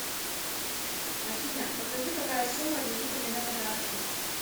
афина покажи какая сумма лежит у меня на карте